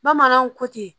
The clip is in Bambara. Bamananw ko ten